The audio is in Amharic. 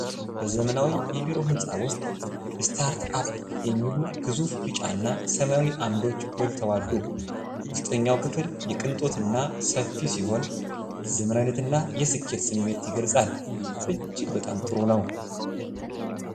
ዋው፣ በጣም ያምራል! በዘመናዊ የቢሮ ህንጻ ውስጥ "ሰታርት አፕ" የሚሉ ግዙፍ ቢጫና ሰማያዊ ዓምዶች ጎልተው አሉ። ውስጠኛው ክፍል የቅንጦት እና ሰፊ ሲሆን፣ የዘመናዊነትና የስኬት ስሜት ይገልጻል። እጅግ በጣም ጥሩ ነው!